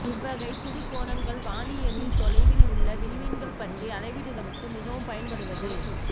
இவ்வகை சிறு கோணங்கள் வானியலில் தொலைவில் உள்ள விண்மீன்கள் பற்றிய அளவீடுகளுக்கு மிகவும் பயன்படுவது